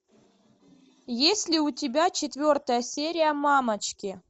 есть ли у тебя четвертая серия мамочки